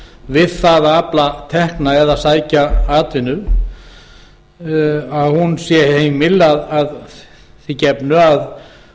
við það að afla tekna eða sækja um atvinnu sé heimil að því gefnu að